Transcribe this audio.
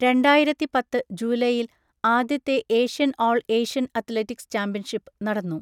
രണ്ടായിരത്തി പത്ത് ജൂലൈയിൽ ആദ്യത്തെ Asian all Asian athletics championship നടന്നു.